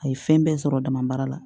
A ye fɛn bɛɛ sɔrɔ dama baara la